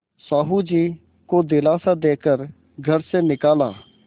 साहु जी को दिलासा दे कर घर से निकाला